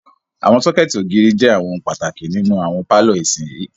Àwọn sọ́kẹ̀tì ògiri jẹ àwọn ohun pàtàkì nínú àwọn pálọ̀ ìsinyìí.